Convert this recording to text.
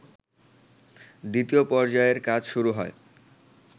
দ্বিতীয় পর্যায়ের কাজ শুরু হয়